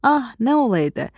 Ah, nə olaydı!